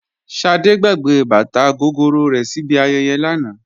Ṣadé gbàgbé bàtà gogoro rẹ̀ síbi ayẹyẹ lánàá